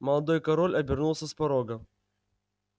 молодой король обернулся с порога